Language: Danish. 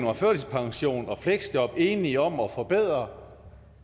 om førtidspension og fleksjob enige om at forbedre